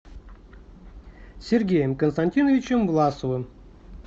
сергеем константиновичем власовым